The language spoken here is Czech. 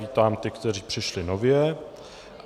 Vítám ty, kteří přišli nově.